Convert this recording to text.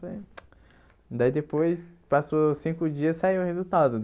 Daí depois, passou cinco dias e saiu o resultado.